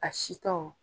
A si tɔw